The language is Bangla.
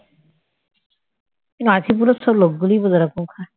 মাছিমপুরের সব লোকগুলোই বোধহয় এরকম খায়